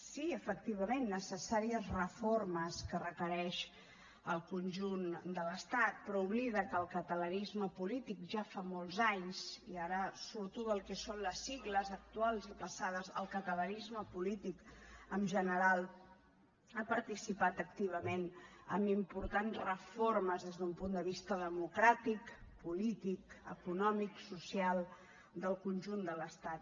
sí efectivament necessàries reformes que requereix el conjunt de l’estat però oblida que el catalanisme polític ja fa molts anys i ara surto del que són les sigles actuals i passades el catalanisme polític en general ha participat activament amb importants reformes des d’un punt de vista democràtic polític econòmic social del conjunt de l’estat